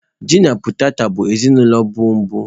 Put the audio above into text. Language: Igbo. Ji na potetọ bụ ezinụlọ bọlbụ.